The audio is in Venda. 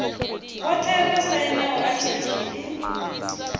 vhothe vho sainaho atiki ḽi